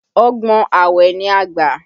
Ọgbọ́n awẹ ni a gbà